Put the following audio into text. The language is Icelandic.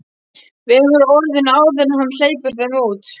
Vegur orðin áður en hann hleypir þeim út.